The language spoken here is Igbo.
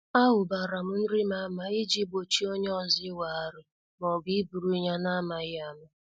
A hubaram nrim ama iji gbochie onye ọzọ iweghari maọbụ iburu ya n' amaghị ama.